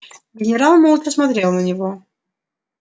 генерал молча смотрел на него